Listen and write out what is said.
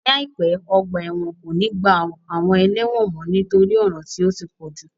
Ní àìpé, ọgbà ẹ̀wọ̀n kò ní gba àwọn ẹlẹ́wọ̀n mọ nítorí ọ̀ràn tí ó ti pọ̀jù